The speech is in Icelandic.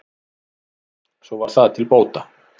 svo var það til bóta